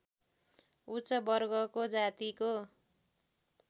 उच्च वर्गको जातिको